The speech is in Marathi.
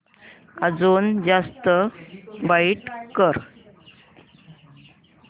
अजून जास्त ब्राईट कर